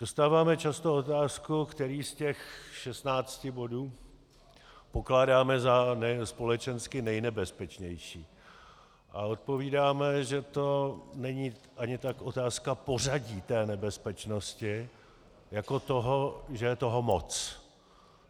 Dostáváme často otázku, který z těch 16 bodů pokládáme za společensky nejnebezpečnější, a odpovídáme, že to není ani tak otázka pořadí té nebezpečnosti jako toho, že je toho moc.